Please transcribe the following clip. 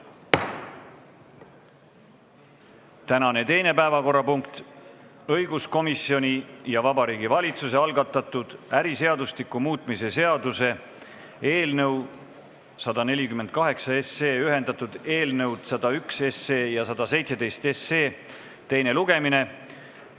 Tänane teine päevakorrapunkt on õiguskomisjoni ja Vabariigi Valitsuse algatatud äriseadustiku muutmise seaduse eelnõu 148, milles on ühendatud eelnõud 101 ja 117, teine lugemine.